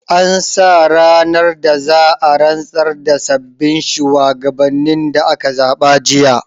An sa ranar da za'a rantsar da sabbin shuwagabannin da aka zaɓa jiya